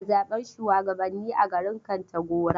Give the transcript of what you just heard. Ana zaɓen shuwagabanni a garin Kontagora.